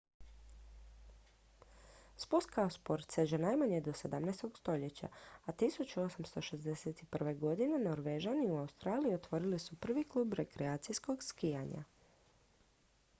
spust kao sport seže najmanje do 17. stoljeća a 1861. godine norvežani u australiji otvorili su prvi klub rekreacijskog skijanja